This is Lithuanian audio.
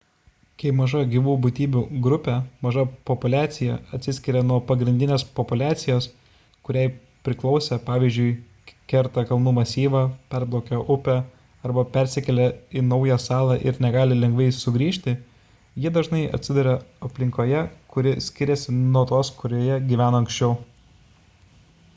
kai maža gyvų būtybių grupė maža populiacija atsiskiria nuo pagrindinės populiacijos kuriai priklausė pvz. kerta kalnų masyvą perplaukia upę arba persikelia į naują salą ir negali lengvai sugrįžti ji dažnai atsiduria aplinkoje kuri skiriasi nuo tos kurioje jie gyveno anksčiau